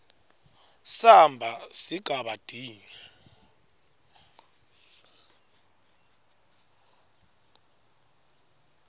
samba sigaba d